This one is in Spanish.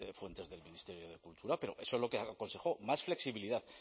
fuentes del ministerio de cultura pero eso es lo que aconsejó más flexibilidad